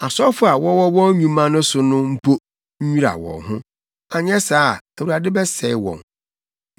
Asɔfo a wɔwɔ wɔn nnwuma so no mpo nnwira wɔn ho, anyɛ saa a, Awurade bɛsɛe wɔn.”